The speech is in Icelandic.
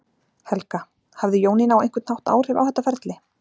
Helga: Hafði Jónína á einhvern hátt áhrif á þetta ferli?